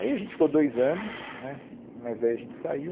Aí a gente ficou dois anos né, mas daí a gente saiu.